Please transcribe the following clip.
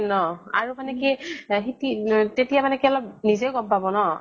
য়ে ন ? আৰু মানে কি সি, তেতিয়া মানে কি অলপ নিজেও গʼম পাব ন ?